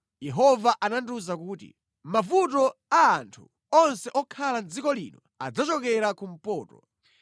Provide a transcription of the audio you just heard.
Yehova anandiwuza kuti, “Mavuto a anthu onse okhala mʼdziko lino adzachokera kumpoto.